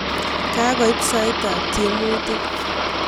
Kakoit saitab tiemutik